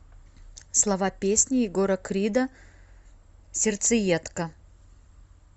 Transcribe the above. слова песни егора крида сердцеедка